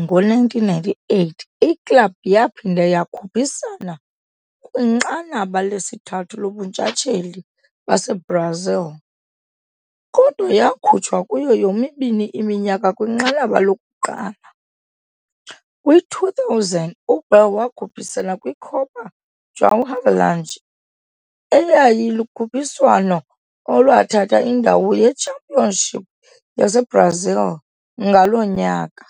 ngo-1998, iklabhu yaphinda yakhuphisana kwiNqanaba lesithathu lobuNtshatsheli baseBrazil, kodwa yakhutshwa kuyo yomibini iminyaka kwinqanaba lokuqala. Kwi-2000, uBaré wakhuphisana kwiCopa João Havelange, eyayilukhuphiswano olwathatha indawo ye-Championship yaseBrazil ngaloo nyaka.